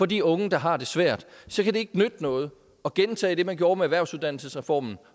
de unge der har det svært så kan det ikke nytte noget at gentage det man gjorde med erhvervsuddannelsesreformen